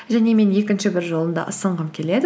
және мен екінші бір жолымды ұсынғым келеді